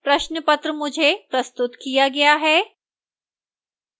प्रश्न पत्र मुझे प्रस्तुत किया गया है